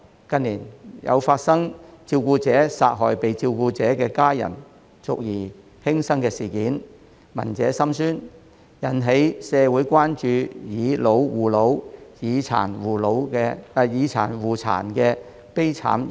近年，有發生照顧者殺害被照顧的家人繼而輕生的事件，聞者心酸，引起社會關注"以老護老"、"以殘護殘"的悲慘現象。